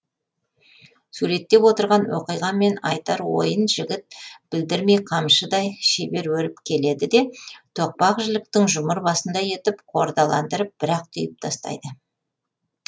суреттеп отырған оқиға мен айтар ойын жігіт білдірмей қамшыдай шебер өріп келеді де тоқпақ жіліктің жұмыр басындай етіп қордаландырып бір ақ түйіп тастайды